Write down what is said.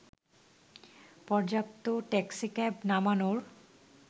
পর্যাপ্ত ট্যাক্সিক্যাব নামানোর